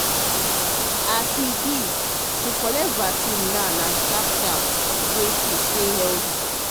as e be to collect vaccine na sharp sharp way to stay healthy.